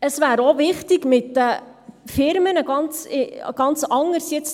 Es wäre auch wichtig, mit den Firmen jetzt